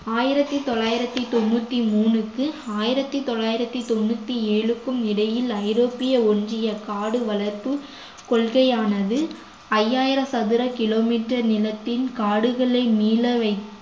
ஆயிரத்தி தொள்ளாயிரத்தி தொண்ணூத்தி மூணுக்கு ஆயிரத்தி தொள்ளாயிரத்தி தொண்ணூத்தி ஏழுக்கும் இடையில் ஐரோப்பிய ஒன்றிய காடு வளர்ப்பு கொள்கையானது ஐயாயிரம் சதுர kilometer நிலத்தின் காடுகளை மீளவைக்க